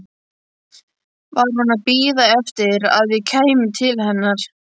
Var hún að bíða eftir að ég kæmi til hennar?